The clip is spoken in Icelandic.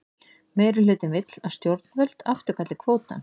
Meirihlutinn vill að stjórnvöld afturkalli kvótann